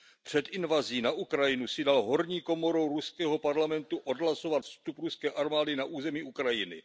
Před invazí na Ukrajinu si dal horní komorou ruského parlamentu odhlasovat vstup ruské armády na území Ukrajiny.